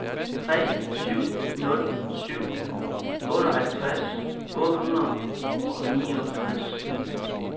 tre syv nul syv otteoghalvtreds otte hundrede og niogtres